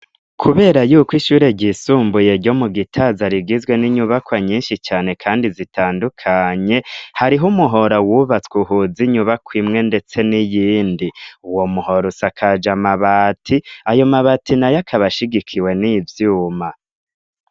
Kubera yuko ishure ryisumbuye ryo mu gitaza rigizwe n'inyubakwa nyinshi cane kandi zitandukanye hariho umuhora wubatswe uhuze inyubako imwe ndetse n'iyindi uwo muhora usakaje mabati ayo mabati nayo akaba ashigikiwe n' ivyuma.